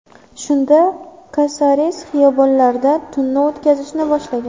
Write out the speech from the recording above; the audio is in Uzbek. Shunda Kasares xiyobonlarda tunni o‘tkazishni boshlagan.